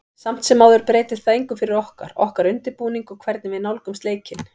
Samt sem áður breytir það engu fyrir okkur, okkar undirbúning og hvernig við nálgumst leikinn.